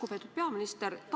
Lugupeetud peaminister!